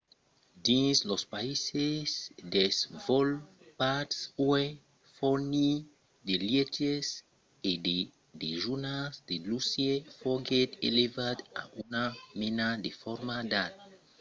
dins los païses desvolopats uèi fornir de lièches e de dejunars de luxe foguèt elevat a una mena de forma d'art